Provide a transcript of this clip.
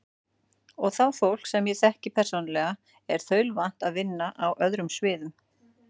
Og það fólk, sem ég þekki persónulega, er þaulvant að vinna á öðrum sviðum.